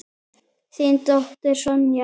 Þín dóttir, Sonja.